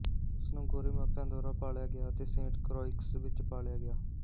ਉਸ ਨੂੰ ਗੋਰੇ ਮਾਪਿਆਂ ਦੁਆਰਾ ਪਾਲਿਆ ਗਿਆ ਅਤੇ ਸੇਂਟ ਕ੍ਰੌਇਕਸ ਵਿੱਚ ਪਾਲਿਆ ਗਿਆ